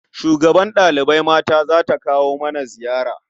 Shugabar ɗalibai mata za ta kawo mana ziyara.